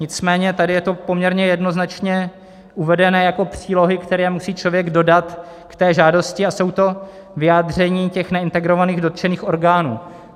Nicméně tady je to poměrně jednoznačně uvedené jako přílohy, které musí člověk dodat k té žádosti, a jsou to vyjádření těch neintegrovaných dotčených orgánů.